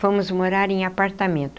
Fomos morar em apartamento.